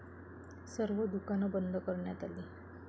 सर्व दुकानं बंद कऱण्यात आली.